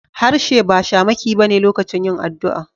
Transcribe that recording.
Harshe ba shamaki ba ne lokacin yin addu'a.